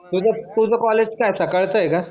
हे बघ तुझं कॉलेज सकाळचं आहे कळतय का